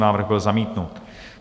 Návrh byl zamítnut.